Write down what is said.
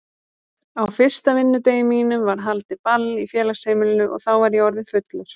Á fyrsta vinnudegi mínum var haldið ball í félagsheimilinu og þá var ég orðinn fullur.